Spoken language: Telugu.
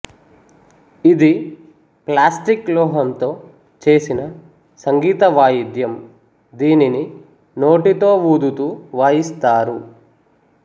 ఇది ప్లాస్టిక్ లోహంతో చేసిన సంగీత వాయిద్యం దీనిని నోటితో వూదుతూ వాయిస్తారు